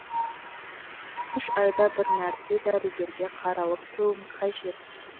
үш айда бір мәрте дәрігерге қаралып тұруым қажет